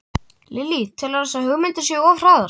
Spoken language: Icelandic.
Lillý: Telurðu að þessar hugmyndir séu of hraðar?